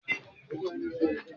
Ilé ẹjọ́ pé orísirísi.